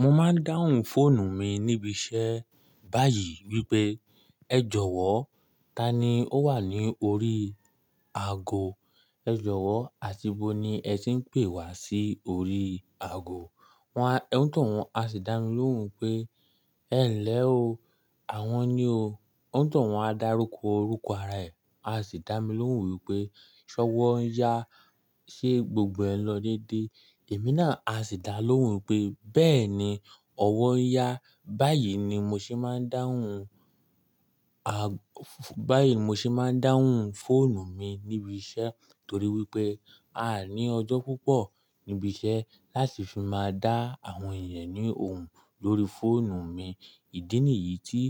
Mo máa ń dáhùn fóònù mi níbi iṣẹ́ báyìí wípé ẹ jọ̀wọ́, tani ó wà ní orí aago? Ẹ jọ̀wọ́, àti bo ni ẹ ti ń pè wá sí orí aago? Wọn á, ó tó wọ́n á sì dá mi lóhùn pé ẹ̀ ń lẹ o. Àwọn ni o. Ó tó wọ́n á dárúkọ orúkọ ara ẹ̀, a sì dá mi lóhùn wípé ṣọ́wọ́ ń yá, ṣe gbogbo ẹ̀ lọ dédé? Èmi náà a sì dá lóhùn pé bẹ́ẹ̀ni, ọwọ ń yá. Báyìí ni mo ṣe máa ń dáhùn a-- báyìí ni mo ṣe máa ń dáhùn fóònù mi níbi iṣẹ́ torí wípé a ní ọjọ́ púpọ̀ níbi iṣẹ́ láti fi máa dá àwọn èèyàn ní ohùn lórí fóònù mi. Ìdí nìyí tí